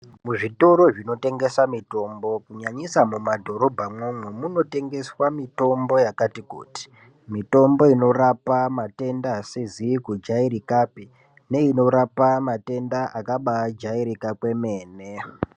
Muzvitoro zvinotengesa mitombo kunyanyisa mumadhorobhamwomwo, munotengeswa mitombo yakati kuti. Mitombo inorapa matenda asizi kujairikapi, neinorapa matenda akabaajairika kwemene.